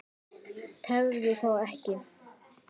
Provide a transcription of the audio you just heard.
Tefðu þá ekki.